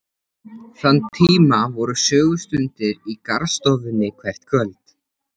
Þann tíma voru sögustundir í garðstofunni hvert kvöld.